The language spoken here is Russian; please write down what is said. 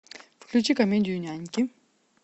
включи комедию няньки